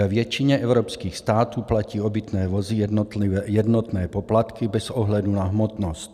Ve většině evropských států platí obytné vozy jednotné poplatky bez ohledu na hmotnost.